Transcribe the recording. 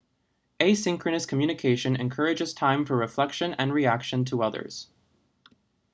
asynchronous communication encourages time for reflection and reaction to others